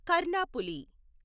Karnaphuli